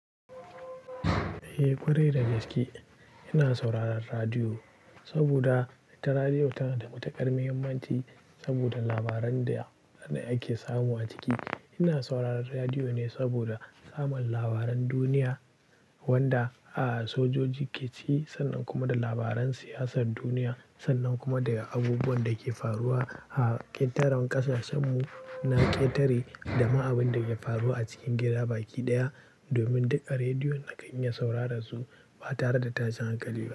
Eh, ƙwarai da gaske ina sauraron radiyo saboda ita radiyo tana da matuƙar mahimmanci saboda labaran da ake samu a ciki. Ina sauraron radiyo ne saboda samun labaran duniya wanda aka soja jiki ci sannan kuma da labaran siyasar duniya sannan kuma daga abubuwan da ke faruwa a ƙetaren ƙasar samun na ƙetare da ma abin da ke faruwa a cikin gida baki ɗaya domin duka rediyon da kan iya saurara su ba tare da tashin hankali ba.